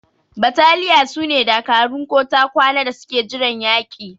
Battaliya sune dakarun ko ta kwana da suke jiran yaki.